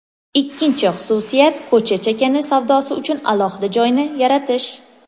Ikkinchi xususiyat ko‘cha chakana savdosi uchun alohida joyni yaratish.